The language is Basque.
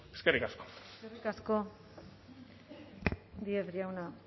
eskerrik asko eskerrik asko díez jauna